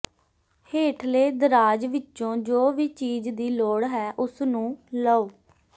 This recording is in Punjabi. ਹੇਠਲੇ ਦਰਾਜ਼ ਵਿੱਚੋਂ ਜੋ ਵੀ ਚੀਜ਼ ਦੀ ਲੋੜ ਹੈ ਉਸਨੂੰ ਲਓ